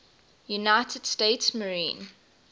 united states marine